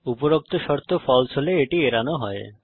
উপরোক্ত শর্ত ফালসে হলে এটি এড়ানো হয়